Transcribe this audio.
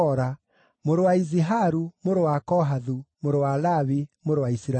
mũrũ wa Iziharu, mũrũ wa Kohathu, mũrũ wa Lawi, mũrũ wa Isiraeli;